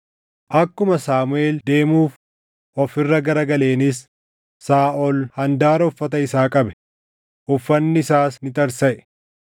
Akkuma Saamuʼeel deemuuf of irra garagaleenis Saaʼol handaara uffata isaa qabe; uffanni isaas ni tarsaʼe.